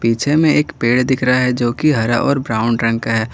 पीछे में एक पेड़ दिख रहा है जो कि हरा और ब्राउन रंग का है।